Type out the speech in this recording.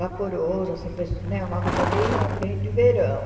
Vaporoso, assim, pesso né uma roupa bem bem de verão.